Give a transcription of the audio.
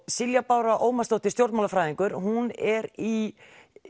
Silja Bára Ómarsdóttir stjórnmálafræðingur hún er í